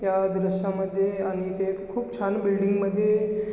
ह्या दृशामध्ये आणि ते खुप छान बिल्डिंग मध्ये--